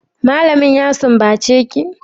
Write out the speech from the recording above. malamin ya sumbace ki?